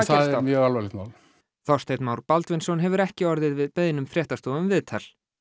það er mjög alvarlegt mál Þorsteinn Már Baldvinsson hefur ekki orðið við beiðnum fréttastofu um viðtal